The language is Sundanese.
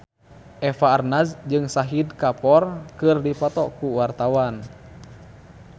Eva Arnaz jeung Shahid Kapoor keur dipoto ku wartawan